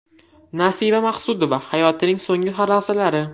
Nasiba Maqsudova hayotining so‘nggi lahzalari.